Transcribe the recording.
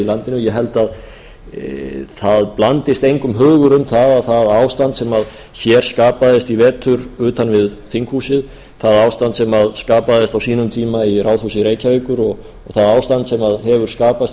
landinu ég held að það blandist engum hugur um að það ástand sem hér skapaðist í vetur utan við þinghúsið það ástand sem skapaðist á sínum tíma í ráðhúsi reykjavíkur og það ástand sem hefur skapast í